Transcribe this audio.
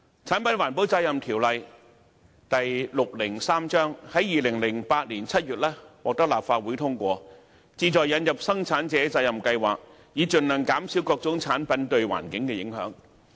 《產品環保責任條例》於2008年7月獲得立法會通過，旨在引入生產者責任計劃，以盡量減少各種產品對環境的影響。